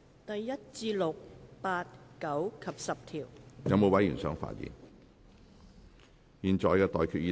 我現在向各位提出的待決議